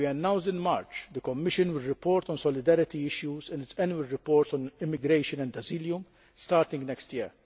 As we announced in March, the Commission will report on solidarity issues in its annual report on immigration and asylum, starting next year.